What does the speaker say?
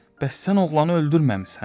Bəs sən oğlanı öldürməmisən?